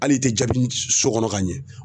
Hali i tɛ jaabi so kɔnɔ ka ɲɛ